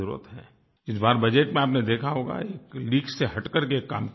इस बार बजट में आपने देखा होगा कि लीक से हटकर के काम किया गया है